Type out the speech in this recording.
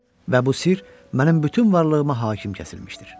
Və bu sir mənim bütün varlığıma hakim kəsilmişdir.